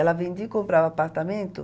Ela vendia e comprava apartamento.